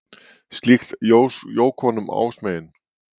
Slíkt jók honum ásmegin.